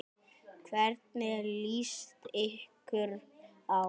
Hvernig líst ykkur á?